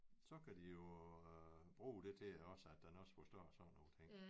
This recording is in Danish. Så kan de jo bruge det til også at den også forstår sådan nogle ting